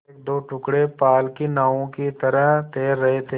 एकदो टुकड़े पाल की नावों की तरह तैर रहे थे